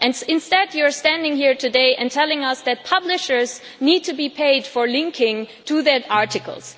Instead you are standing here today and telling us that publishers need to be paid for linking to their articles.